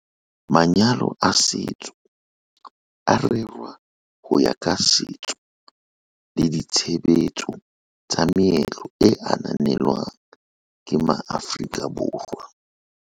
MvN- Manyalo a setso a rerwa ho ya ka setso le ditshebetso tsa meetlo e ananelwang ke maAforika Borwa.